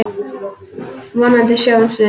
Vonandi sjáumst við.